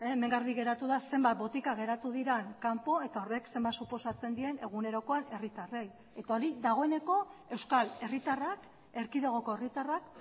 hemen garbi geratu da zenbat botika geratu diren kanpo eta horrek zenbat suposatzen dien egunerokoan herritarrei eta hori dagoeneko euskal herritarrak erkidegoko herritarrak